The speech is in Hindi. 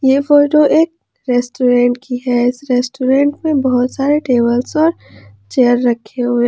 यह फोटो एक रेस्टोरेंट की है इस रेस्टोरेंट में बहुत सारे टेबलस और चेयर रखे हुए--